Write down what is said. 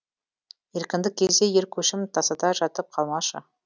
еркіндік кезде ер көшім тасада жатып қалмашы